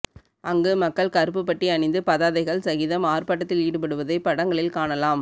அங்கு மக்கள் கறுப்புப்பட்டி அணிந்து பதாதைகள் சகிதம் ஆர்ப்பாட்டத்தில் ஈடுபடுவதைப் படங்களில் காணலாம்